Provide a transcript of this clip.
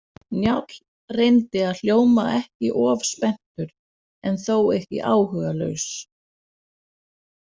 Njáll reyndi að hljóma ekki of spenntur en þó ekki áhugalaus.